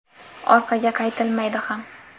Orqaga qaytilmaydi ham.